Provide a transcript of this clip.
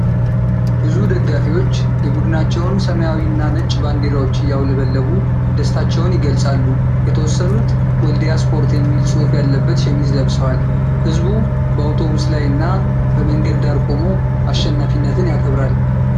ብዙ ደጋፊዎች የቡድናቸውን ሰማያዊ እና ነጭ ባንዲራዎች እያውለበለቡ ደስታቸውን ይገልጻሉ። የተወሰኑት “ወልዲያ ስፖርት” የሚል ጽሁፍ ያለበት ሸሚዝ ለብሰዋል። ሕዝቡ በአውቶቡስ ላይ እና በመንገድ ዳር ቆሞ አሸናፊነትን ያከብራል።